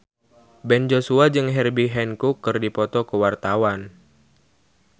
Ben Joshua jeung Herbie Hancock keur dipoto ku wartawan